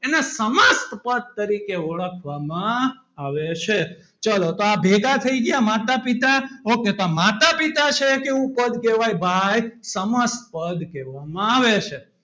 એને સમાસ પદ તરીકે માં ઓળખવામાં આવે છે ચલો તો ભેગા થયી ગયા માતા પિતા okay તો માતા પિતા છે કે ઉપર કે હોય ભાઈ સમાસ પદ કહેવામાં આવે છે.